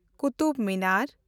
Qutub Minar